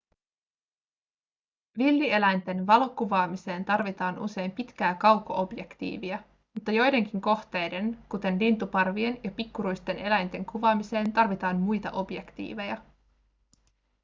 villieläinten valokuvaamiseen tarvitaan usein pitkää kauko-objektiivia mutta joidenkin kohteiden kuten lintuparvien ja pikkuruisten eläinten kuvaamiseen tarvitaan muita objektiiveja